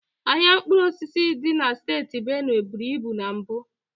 Ahịa mkpụrụ osisi dị na steeti Benue buru ibu na mbụ.